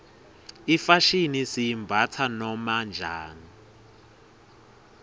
ifashini siyimbatsa noma njani